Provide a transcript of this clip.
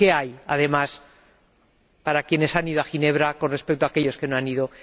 ¿Qué hay, además, para quienes han ido a Ginebra con respecto a aquellos que no han ido?